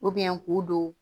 k'u don